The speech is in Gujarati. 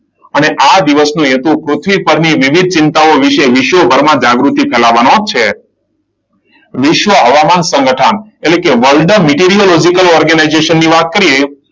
અને આ દિવસનો હેતુ પૃથ્વી પરની વિવિધ ચિંતાઓ વિશે વિશ્વભરમાં જાગૃતિ ફેલાવવાનો છે. વિશ્વ હવામાન સંગઠન એટલે કે world meteorological organization ની વાત કરીએ,